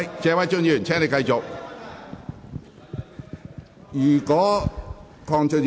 謝偉俊議員，請繼續發言。